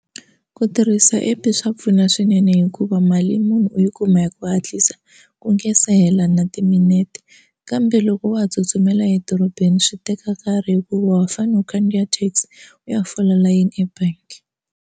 Ku tirhisa app swa pfuna swinene hikuva mali yi munhu u yi kuma hi ku hatlisa ku nga se hela na timinete kambe loko wa ha tsutsumela edorobeni swi teka nkarhi hikuva wa fanele u khandziya taxi u ya fola layeni ebangi.